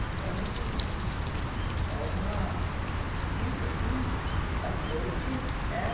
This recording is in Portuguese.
Então, é uma vida, assim, bastante, né?